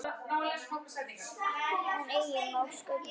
En eigi má sköpum renna.